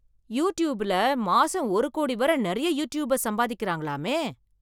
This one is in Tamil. யுடூப்பில் , மாசம் ஒரு கோடி வரை நிறைய யூடிடூப்பர்ஸ் சம்பாதிக்கிறாங்களாமே